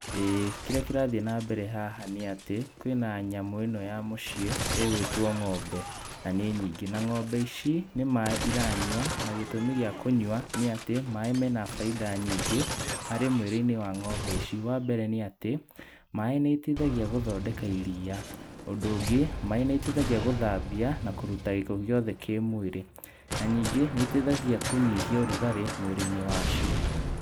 ĩĩ kĩrĩa kĩrathiĩ na mbere haha nĩ atĩ kwĩ na nyamũ ĩno ya mũciĩ ĩgwĩtwo ng'ombe na nĩ nyingĩ. Na ng'ombe ici nĩ maaĩ iranyua na gĩtũmi gĩa kũnyua nĩ atĩ maaĩ mena bainda nyingĩ harĩ mwĩrĩ-inĩ wa ng'ombe ici. Wambere, nĩ atĩ maaĩ nĩ mateithagia gũthondeka iriya. Ũndũ ũngĩ maaĩ nĩmateithagia gũthambia na kũruta gĩko gĩothe kĩ mwĩrĩ na ningĩ nĩteithagia kũnyihia ũrugarĩ mwĩrĩ-inĩ wa cio.